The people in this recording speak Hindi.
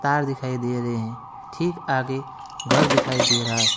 कार दिखाई दे रहे है ठीक आगे घर दिखाई दे रहा है।